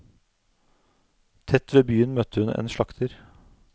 Tett ved byen møtte hun en slakter.